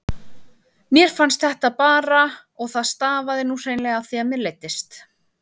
Mér fannst þetta bara og það stafaði nú hreinlega af því að mér leiddist.